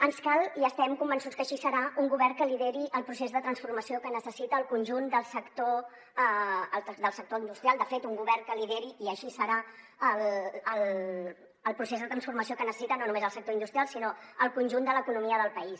ens cal i estem convençuts que així serà un govern que lideri el procés de transformació que necessita el conjunt del sector industrial de fet un govern que lideri i així serà el procés de transformació que necessita no només el sector industrial sinó el conjunt de l’economia del país